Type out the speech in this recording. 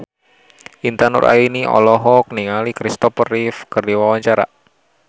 Intan Nuraini olohok ningali Kristopher Reeve keur diwawancara